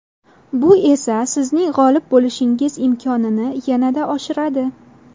Bu esa sizning g‘olib bo‘lishingiz imkonini yanada oshiradi.